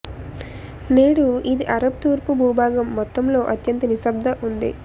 నేడు ఇది అరబ్ తూర్పు భూభాగం మొత్తంలో అత్యంత నిశ్శబ్ద ఉంది